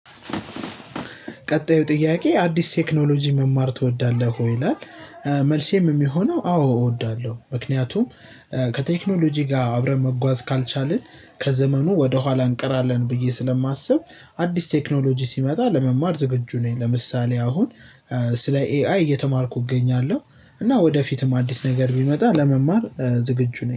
ቀጣዩ ጥያቄ አዲስ ቴክኖሎጂ መማር እወዳለህ? ወይ ይላል እ መልሴም የሚሆነው አዎ እወዳለሁ። ምክንያቱም ከቴክኖሎጂ ጋር አብረን መጓዝ ካልቻልን ከዘመኑ ወደ ኋላ እንቀራለን ብዬ ስለማስብ። አዲስ ቴክኖሎጂ ሲመጣ ለመማር ዝግጁ ነኝ። ለምሳሌ አሁን እ ስለ ኤአይ እየተማርኩ እገኛለሁ። እና ወደፊትም አዲስ ነገር ቢመጣ ለመማር እ ዝግጁ ነኝ